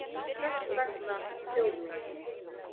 Þess vegna þjóð mín!